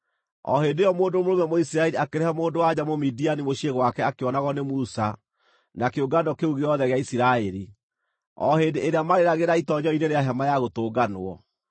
O hĩndĩ ĩyo mũndũ mũrũme Mũisiraeli akĩrehe mũndũ-wa-nja Mũmidiani mũciĩ gwake akĩonagwo nĩ Musa na kĩũngano kĩu gĩothe gĩa Isiraeli, o hĩndĩ ĩrĩa maarĩragĩra itoonyero-inĩ rĩa Hema-ya-Gũtũnganwo.